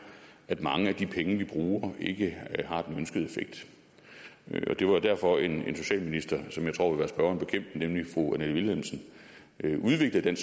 at mange af de penge vi bruger ikke har den ønskede effekt det var derfor at en socialminister som jeg tror vil være spørgeren bekendt nemlig fru annette vilhelmsen udviklede